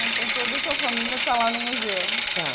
Ah, então toda a tua família está lá no museu?stá.